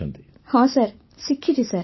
ବର୍ଷାବେନ୍ ହଁ ସାର୍ ଶିଖିଛି ସାର୍